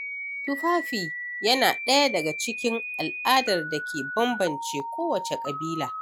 Tufafi yana ɗaya daga cikin al'adar da ke banbance ko wacce ƙabila.